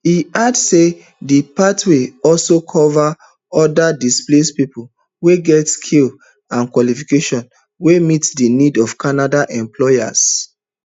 e add say di pathway also cover oda displaced pipo wey get skills and qualifications wey meet di needs of canadian employers